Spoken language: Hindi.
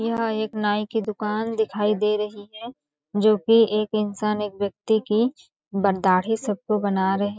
यह एक नाई के दुकान दिखाई दे रही है जो की एक इंसान एक व्यक्ति की ब दाढ़ी सबको बना रहे है।